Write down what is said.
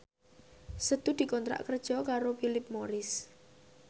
Setu dikontrak kerja karo Philip Morris